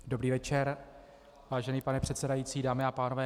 Dobrý večer, vážený pane předsedající, dámy a pánové.